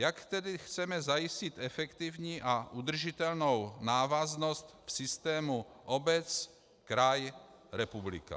Jak tedy chceme zajistit efektivní a udržitelnou návaznost v systému obec - kraj - republika?